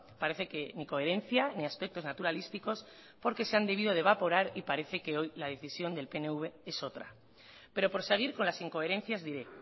parece que ni coherencia ni aspectos naturalísticos porque se han debido de evaporar y parece que hoy la decisión del pnv es otra pero por seguir con las incoherencias diré